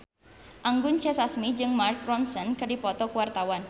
Anggun C. Sasmi jeung Mark Ronson keur dipoto ku wartawan